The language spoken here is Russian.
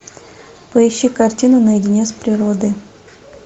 поищи картину наедине с природой